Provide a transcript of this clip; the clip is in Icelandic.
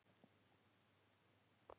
Sjúkrahúsin undir hnífinn